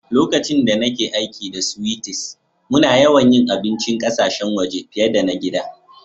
Lokacin da nake aiki da sweeties, muna yawan yi abincin ƙasashen waje fiyar da na gida.